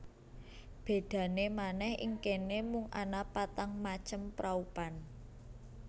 Bedane manèh ing kene mung ana patang macem praupan